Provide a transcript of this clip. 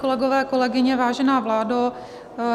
Kolegové, kolegyně, vážená vládo.